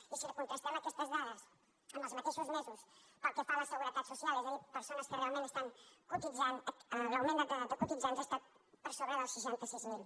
i si contrastem aquestes dades amb els mateixos mesos pel que fa a la seguretat social és a dir persones que realment estan cotitzant l’augment de cotitzants ha estat per sobre dels seixanta sis mil